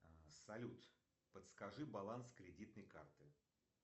салют подскажи баланс кредитной карты